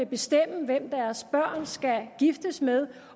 bestemme hvem deres børn skal giftes med